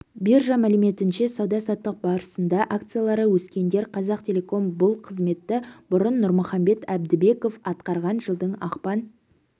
биржа мәліметінше сауда-саттық барысында акциялары өскендер қазақтелеком бұл қызметті бұрын нұрмұхамбет әбдібеков атқарған жылдың ақпан